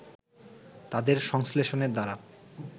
তাদের সংশ্লেষণের দ্বারা